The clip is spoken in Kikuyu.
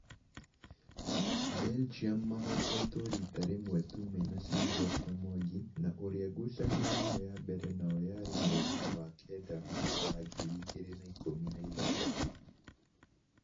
Belgium mahotetwo rita rĩmwe tu mena Silvester Mwangi na ũria ngucanio yao ya mbere nao yarĩ mweri-inĩ wa kenda mwaka wa ngiri igĩrĩ na ikũmi na ithathatu.